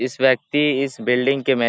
इस व्यक्ति इस बिल्डिंग के में --